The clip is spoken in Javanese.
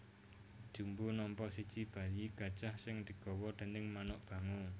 Jumbo nampa siji bayi gajah sing digawa déning manuk bango